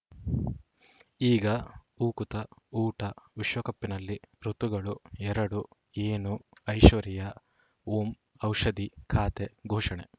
ಈಗ ಉಕುತ ಊಟ ವಿಶ್ವಕಪ್‌ನಲ್ಲಿ ಋತುಗಳು ಎರಡು ಏನು ಐಶ್ವರ್ಯಾ ಓಂ ಔಷಧಿ ಖಾತೆ ಘೋಷಣೆ